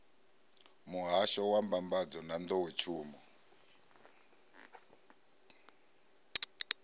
muhahsho wa mbambadzo na nḓowetshumo